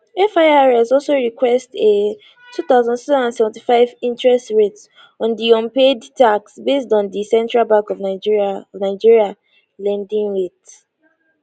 firs also request a 2675 interest rate on di unpaid taxes based on di central bank of nigeria of nigeria lending rate